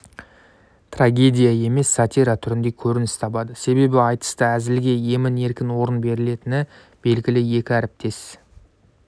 трагедия емес сатира түрінде көрініс табады себебі айтыста әзілге емін-еркін орын берілетіні белгілі екі әріптес